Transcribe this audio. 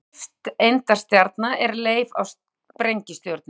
Nifteindastjarna er leif af sprengistjörnu.